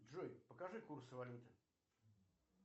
джой покажи курс валюты